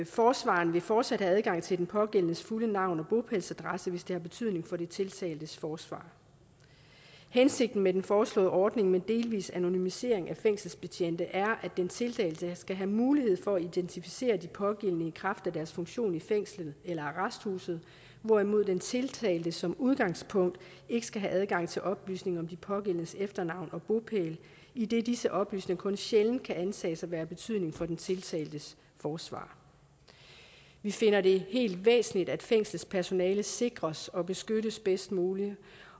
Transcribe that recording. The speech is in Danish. forsvareren vil fortsat have adgang til de pågældendes fulde navn og bopælsadresse hvis det har betydning for den tiltaltes forsvar hensigten med den foreslåede ordning med delvis anonymisering af fængselsbetjente er at den tiltalte skal have mulighed for at identificere de pågældende i kraft af deres funktion i fængslet eller arresthuset hvorimod den tiltalte som udgangspunkt ikke skal have adgang til oplysninger om de pågældendes efternavn og bopæl idet disse oplysninger kun sjældent kan antages at være af betydning for den tiltaltes forsvar vi finder det væsentligt at fængselspersonalet sikres og beskyttes bedst muligt